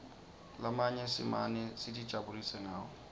lamanye simane sitijabulisa ngawo